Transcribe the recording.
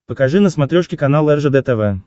покажи на смотрешке канал ржд тв